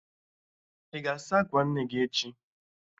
Ị ga-asa akwa nne gị echi?